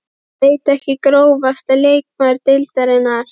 Veit ekki Grófasti leikmaður deildarinnar?